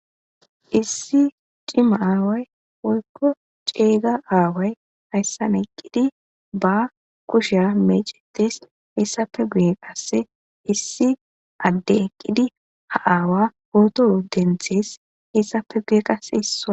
Issi cima awayi woykko ceega awayi hayssani eqqidi ba kushiya mecetes.izape guyeta qassi issi adde eqqidi ha awa poto denites izape qassi guyera